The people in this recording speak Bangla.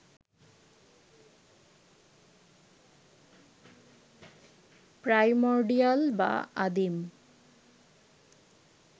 প্রাইমর্ডিয়াল বা আদিম